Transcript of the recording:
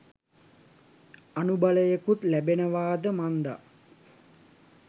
අනුබලයකුත් ලැබෙනවාද මන්දා.